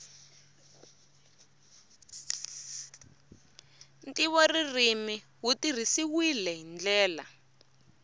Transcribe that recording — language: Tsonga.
ntivoririmi wu tirhisiwile hi ndlela